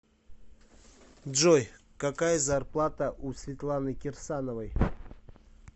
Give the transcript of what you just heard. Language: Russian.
джой какая зарплата у светланы кирсановой